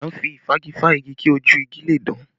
À ń fi ìfági fá igi kí ojú igi le dán